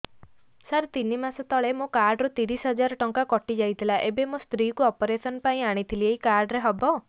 ସାର ତିନି ମାସ ତଳେ ମୋ କାର୍ଡ ରୁ ତିରିଶ ହଜାର ଟଙ୍କା କଟିଯାଇଥିଲା ଏବେ ମୋ ସ୍ତ୍ରୀ କୁ ଅପେରସନ ପାଇଁ ଆଣିଥିଲି ଏଇ କାର୍ଡ ରେ ହବ